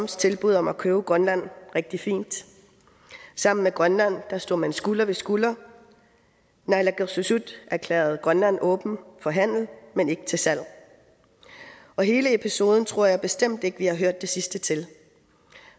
tilbud om at købe grønland rigtig fint sammen med grønland stod man skulder ved skulder naalakkersuisut erklærede grønland åben for handel men ikke til salg og hele episoden tror jeg bestemt ikke vi har hørt det sidste til